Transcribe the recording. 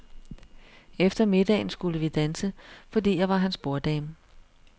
Efter middagen skulle vi danse, fordi jeg var hans borddame.